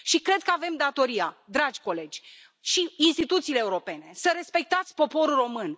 Cred că avem datoria, dragi colegi și instituțiile europene, să respectați poporul român.